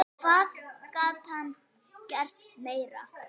Hvað gat hann gert meira?